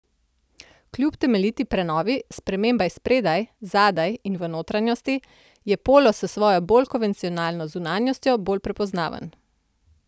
Kljub temeljiti prenovi, spremembam spredaj, zadaj in v notranjosti, je polo s svojo bolj konvencionalno zunanjostjo bolj prepoznaven.